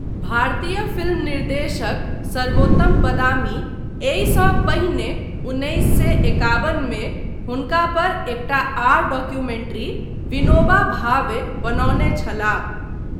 भारतीय फिल्म निर्देशक सर्वोत्तम बदामी एहिसँ पहिने उन्नैस सए एकाबन मे हुनका पर एकटा आर डॉक्यूमेंट्री विनोबा भावे बनौने छलाह।